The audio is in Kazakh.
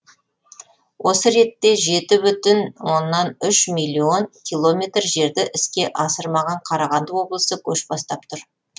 осы ретте жеті бүтін оннан үш миллион километр жерді іске асырмаған қарағанды облысы көш бастап тұр